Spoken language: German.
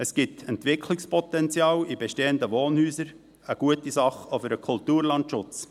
Es gibt Entwicklungspotenzial in bestehenden Wohnhäusern: eine gute Sache oder ein Kulturlandschutz.